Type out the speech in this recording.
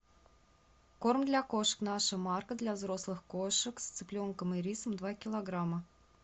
корм для кошек наша марка для взрослых кошек с цыпленком и рисом два килограмма